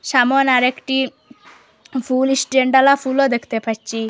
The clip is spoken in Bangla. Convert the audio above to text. সামোন আরেকটি ফুল স্ট্যান্ডওলা ফুলও দেখতে পাচ্চি।